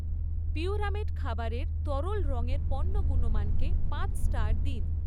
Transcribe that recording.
পিউরামেট খাবারের তরল রঙের পণ্য গুণমানকে পাঁচ স্টার দিন